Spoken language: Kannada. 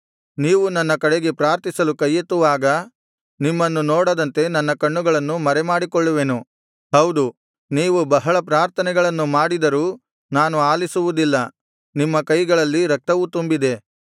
ನೀವು ನನ್ನ ಕಡೆಗೆ ಪ್ರಾರ್ಥಿಸಲು ಕೈಯೆತ್ತುವಾಗ ನಿಮ್ಮನ್ನು ನೋಡದಂತೆ ನನ್ನ ಕಣ್ಣುಗಳನ್ನು ಮರೆಮಾಡಿಕೊಳ್ಳುವೆನು ಹೌದು ನೀವು ಬಹಳ ಪ್ರಾರ್ಥನೆಗಳನ್ನು ಮಾಡಿದರೂ ನಾನು ಆಲಿಸುವುದಿಲ್ಲ ನಿಮ್ಮ ಕೈಗಳಲ್ಲಿ ರಕ್ತವು ತುಂಬಿದೆ